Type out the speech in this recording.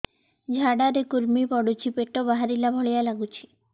ଝାଡା ରେ କୁର୍ମି ପଡୁଛି ପେଟ ବାହାରିଲା ଭଳିଆ ଲାଗୁଚି